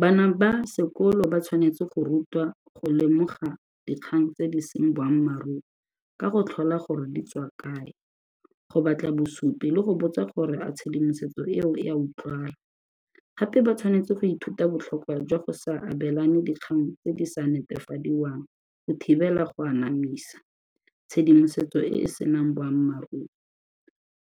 Bana ba sekolo ba tshwanetse go rutwa go lemoga dikgang tse di seng boammaaruri ka go tlhola gore di tswa kae, go batla bosupi le go botsa gore a tshedimosetso eo e a utlwala. Gape ba tshwanetse go ithuta botlhokwa jwa go sa abelane dikgang tse di sa netefadiwang go thibela go anamisa tshedimosetso e e senang boammaaruri.